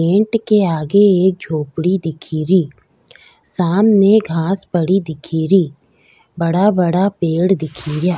Tent के आगे एक झोपडी एक दिखेरी सामने घांस पड़ी दिखेरी बड़ा बड़ा पेड़ दिखेरा।